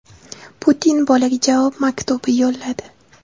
Putin bolaga javob maktubi yo‘lladi.